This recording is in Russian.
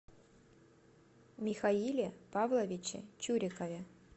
михаиле павловиче чурикове